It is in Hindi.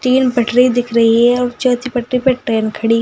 तीन पटरी दिख रही है और चौथी पटरी पर ट्रेन खड़ी है।